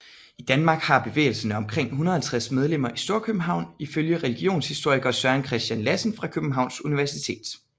I Danmark har bevægelsen omkring 150 medlemmer i Storkøbenhavn ifølge religionshistoriker Søren Christian Lassen fra Københavns Universitet